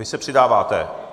Vy se přidáváte?